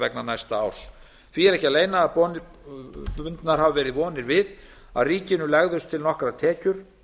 vegna næsta árs því er ekki að leyna að bundnar hafa verið vonir við að ríkinu legðust til nokkrar tekjur